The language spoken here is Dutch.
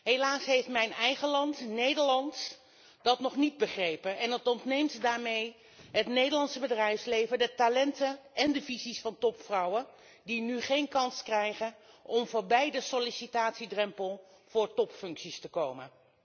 Helaas heeft mijn eigen land, Nederland, dat nog niet begrepen en dat ontneemt daarmee het Nederlandse bedrijfsleven de talenten en de visies van topvrouwen die nu geen kans krijgen om voorbij de sollicitatiedrempel voor topfuncties te komen.